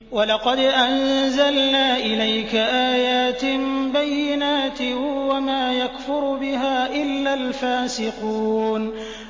وَلَقَدْ أَنزَلْنَا إِلَيْكَ آيَاتٍ بَيِّنَاتٍ ۖ وَمَا يَكْفُرُ بِهَا إِلَّا الْفَاسِقُونَ